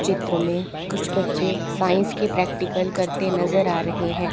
चित्र में कुछ बच्चे साइंस के प्रेक्टिकल करते नजर आ रहे हैं।